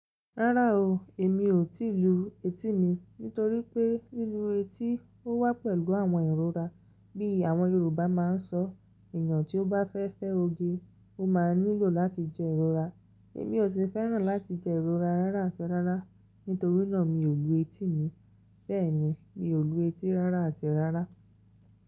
Rárá o, èmi ò tí ì lu etí mi nítorí pé lílu etí ó wá pẹ̀lú àwọn ìrora bí àwọn Yorùbá máa ń sọ “èèyàn tí ó bá fẹ́ fẹ́ oge, ó máa nílò láti jẹ ìrora”. Èmi ò sì fẹ́ràn láti jẹ ìrora rárá àti rárá, nítorí náà mi ò lu etí mi. Bẹ́ẹ̀ ni, mi ò lu etí rárá àti rárá.